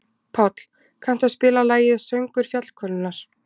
Páll, kanntu að spila lagið „Söngur fjallkonunnar“?